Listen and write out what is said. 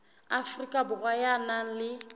afrika borwa ya nang le